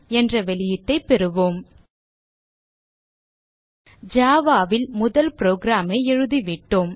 என்ற வெளியீட்டை பெறுவோம் java ல் முதல் program ஐ எழுதிவிட்டோம்